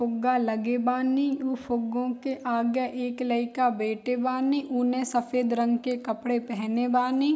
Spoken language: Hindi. फुग्गा लगे वानी उ फुग्गो को आगे एक लयका बैठे वानी उने सफ़ेद रंग के कपड़े पहने वानी।